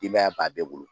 Denbaya b'a bɛɛ bolo